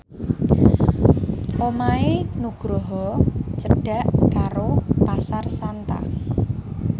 omahe Nugroho cedhak karo Pasar Santa